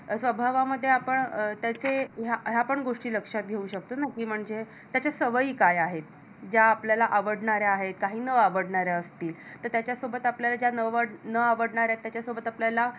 हा स्वभावामध्ये आपण त्याचे ह्या पण गोष्टी लक्षात घेऊ शकतो ना कि म्हणजे त्याच्या सवयी काय आहेत? ज्या आपल्याला आवडणारे आहेत काही न आवडणाऱ्या असतील तर त्याच्यासोबत आपल्या न आवडणारे असतील तर त्याच्या न आवडणाऱ्या त्याचा सोबत आपल्याला